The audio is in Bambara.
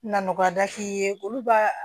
Na nɔgɔya da k'i ye olu b'a